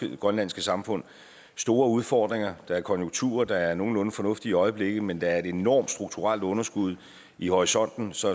i det grønlandske samfund store udfordringer der er konjunkturer der er nogenlunde fornuftige i øjeblikket men der er et enormt strukturelt underskud i horisonten så